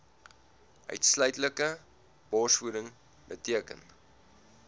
uitsluitlike borsvoeding beteken